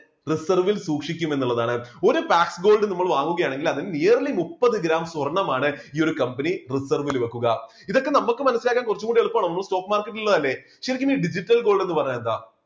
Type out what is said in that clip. reserve ൽ സൂക്ഷിക്കും എന്നുള്ളതാണ് ഒരു black gold നമ്മൾ വാങ്ങിക്കുകയാണെങ്കിൽ അതിൻറെ yearly മുപ്പത് gram സ്വർണമാണ് ഈ ഒരു കമ്പനി reserve ൽ വെക്കുക ഇതൊക്കെ നമുക്ക് മനസ്സിലാക്കാൻ കുറച്ചു കൂടി എളുപ്പമാണ് നമ്മൾ stock market ൽ ഉള്ളത് അല്ലേ ശരിക്കും ഈ digital gold എന്ന് പറഞ്ഞാൽ എന്താ?